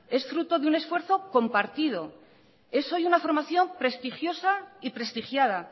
es fruto de un esfuerzo compartido es hoy una formación prestigiosa y prestigiada